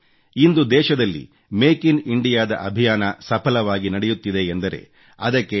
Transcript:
ಇಂದು ದೇಶದಲ್ಲಿ make in India ದ ಅಭಿಯಾನ ಸಫಲವಾಗಿ ನಡೆಯುತ್ತಿದೆಯೆಂದರೆ ಅದಕ್ಕೆ ಡಾ